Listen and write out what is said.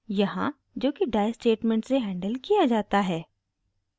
यहाँ जोकि die statement से हैंडल किया जाता है